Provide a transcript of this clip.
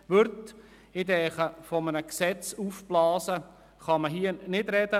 Von einem Aufblasen des Gesetzes kann man in diesem Fall nicht sprechen.